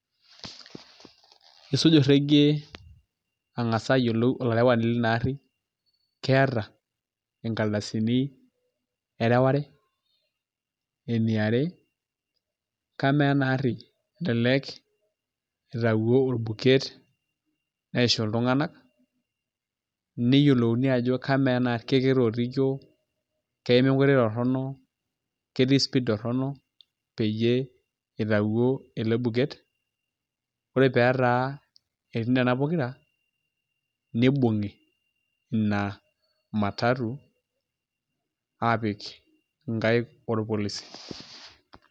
Isuj olrekie angasa aayiolou olarewani leina ari, keeta ingaldasini ereware. Eniare, kamaa enaari elelek itawuo olbuket neishu iltunganak, neyiolo kamaa ena ari ketootikio keima enkoitoi torono, ketii speed torono, peyie itayuo ele buket. Ore peetaa etii nena pokira nibunki ina matatu apik inkaik olpolisi.